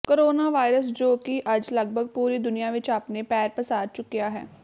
corona virus ਜੋ ਕਿ ਅੱਜ ਲੱਗਭਗ ਪੂਰੀ ਦੁਨੀਆਂ ਵਿੱਚ ਆਪਣੇ ਪੈਰ ਪਸਾਰ ਚੁੱਕਿਆ ਹੈ